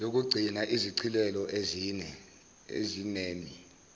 yokuqgcinaa izishicilelo ezinemi